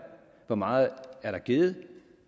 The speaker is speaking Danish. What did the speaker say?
hvor meget der er givet og